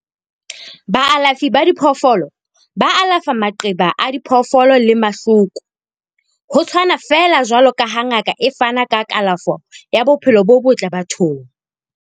Baalafi ba diphoofolo ba alafa maqeba a diphoofolo le mahloko, ho tshwana feela jwaloka ha ngaka e fana ka kalafo ya bophelo bo botle bathong.